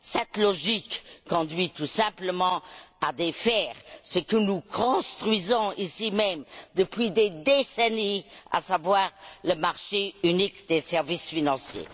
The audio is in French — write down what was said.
Cette logique conduit tout simplement à défaire ce que nous construisons ici même depuis des décennies, à savoir le marché unique des services financiers.